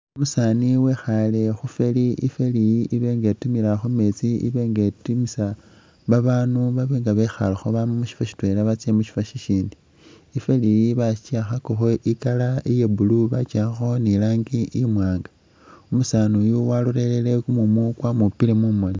Umusaani wekhaale khu ferry, i'feery iyi ibe nga itimila khu meetsi ibe nga itimisa baanu babe nga bekhalakho bama mu syifwo syitwela batsya mu syifwo syisyindi. I'ferry iyi baki akhakakho i'colour iya blue baki akhakho ni i'langi imwaanga. Umusaani uyu walolelele kumumu kwamupile mumoni.